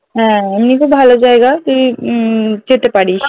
হ্যাঁ এমনি খুব ভালো জায়গা তুই উম যেতে পারিস